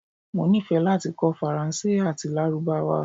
Mo nifẹ lati kọ Faranse ati Larubawa